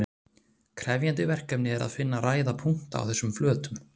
krefjandi verkefni er að finna ræða punkta á þessum flötum